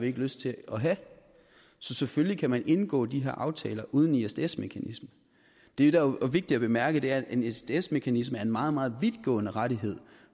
ikke lyst til at have så selvfølgelig kan man indgå de her aftaler uden isds mekanisme det der er vigtigt at bemærke er at en isds mekanisme er en meget meget vidtgående rettighed